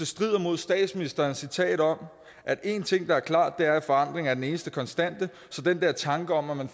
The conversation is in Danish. strider mod statsministerens citat om at en ting der er klart er at forandring er den eneste konstante så den der tanke om at man